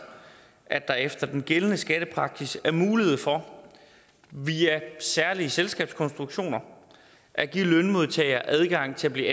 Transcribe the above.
at der efter den gældende skattepraksis er mulighed for via særlige selskabskonstruktioner at give lønmodtagere adgang til at blive